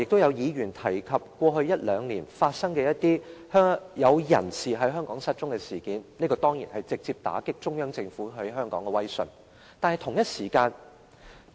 有議員剛才提及過去一兩年發生的某些人在香港失蹤的事件，這當然直接打擊中央政府在香港的威信。